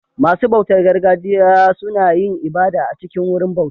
Masu bautar gargajiya suna yin ibada a cikin Wurin bauta